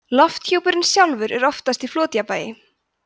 lofthjúpurinn sjálfur er oftast í flotjafnvægi